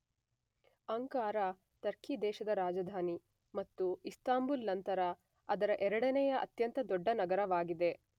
Ankara Turkey ದೇಶದ ರಾಜಧಾನಿ ಮತ್ತು ಇಸ್ತಾಂಬುಲ್ ನಂತರ ಅದರ ೨ನೆಯ ಅತ್ಯಂತ ದೊಡ್ಡ ನಗರವಾಗಿದೆ.